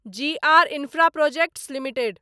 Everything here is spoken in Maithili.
ji R Infraprojects limited